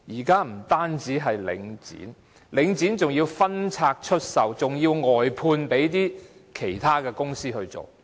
更甚的是，領展還要分拆出售，外判給其他公司營運。